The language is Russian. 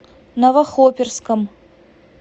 новохоперском